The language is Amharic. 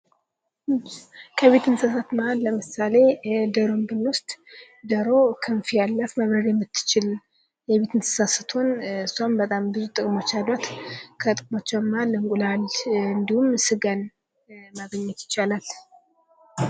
ከቤት እንስሳ መሃል ለምሳሌ ዶሮውን ብንወስድ ዶሮ ክንፍ ያላት መብረር የምትችል የቤት እንስሳ ስትሆን እሷም በጣም ብዙ ጥቅሞች አሏት። ከጥቅሞቿ እንቁላል እንዲሁም ስጋን ማግኘት ይቻላል።